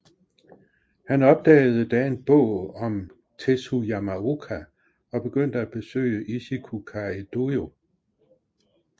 Han opdagede da en bog om Tesshu Yamaoka og begyndte at besøge Ichikukai dojo